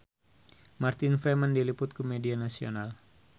Martin Freeman diliput ku media nasional